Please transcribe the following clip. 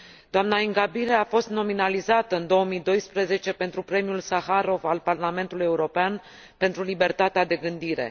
Doamna Ingabire a fost nominalizată în 2012 pentru Premiul Saharov al Parlamentului European pentru libertatea de gândire.